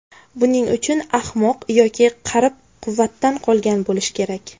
Buning uchun ahmoq yoki qarib, quvvatdan qolgan bo‘lish kerak.